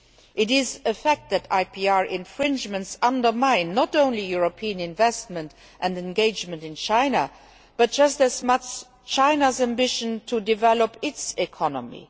It is a fact that IPR infringements undermine not only European investment and engagement in China but just as much China's ambition to develop its economy.